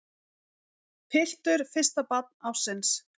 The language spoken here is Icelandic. Piltur fyrsta barn ársins